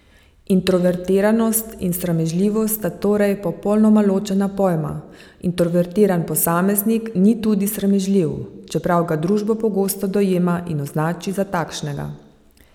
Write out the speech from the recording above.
Introvertiranost in sramežljivost sta torej popolnoma ločena pojma, introvertiran posameznik ni tudi sramežljiv, čeprav ga družba pogosto dojema in označi za takšnega.